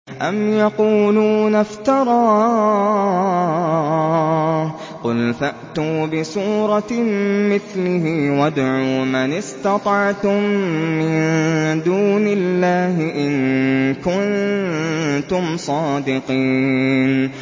أَمْ يَقُولُونَ افْتَرَاهُ ۖ قُلْ فَأْتُوا بِسُورَةٍ مِّثْلِهِ وَادْعُوا مَنِ اسْتَطَعْتُم مِّن دُونِ اللَّهِ إِن كُنتُمْ صَادِقِينَ